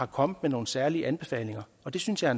kommet med nogen særlige anbefalinger det synes jeg